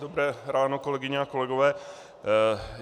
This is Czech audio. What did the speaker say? Dobré ráno, kolegyně a kolegové.